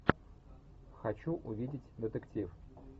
хочу увидеть детектив